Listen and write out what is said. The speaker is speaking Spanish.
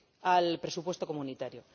al presupuesto comunitario.